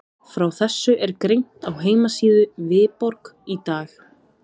Frá þessu er greint á heimasíðu Viborg í dag.